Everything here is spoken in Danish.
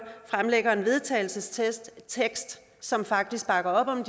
fremlægger en vedtagelsestekst som faktisk bakker op om